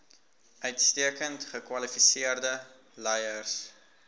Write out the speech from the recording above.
uitstekend gekwalifiseerde leiers